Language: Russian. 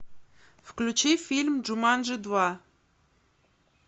включи фильм джуманджи два